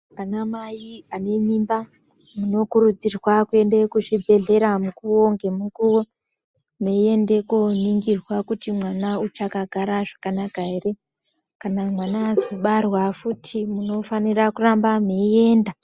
Ana mai ane mimba munokurudzirwa kuenda kuzvibhedhlera mukuwo ngemukuwo meienda koningirwa kuti mwana uchakagara zvakanaka here kana mwana asina kubarwa futi munofanira kuramba mweienda.